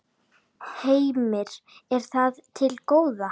Heimir: Er það til góða?